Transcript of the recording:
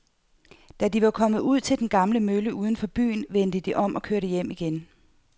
Da de var kommet ud til den gamle mølle uden for byen, vendte de om og kørte hjem igen.